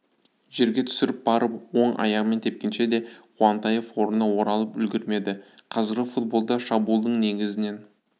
жерге түсіріп барып оң аяғымен тепкенше де қуантаев орнына оралып үлгермеді қазіргі футболда шабуылдың негізінен